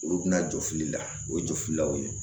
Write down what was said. Olu bɛna jɔfili la o ye jɔli la o ye